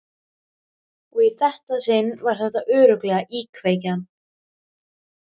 Og í þetta sinn var þetta örugglega íkveikja.